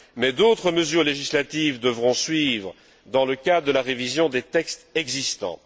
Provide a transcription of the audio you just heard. Mais d'autres mesures législatives devront suivre dans le cadre de la révision des textes existants.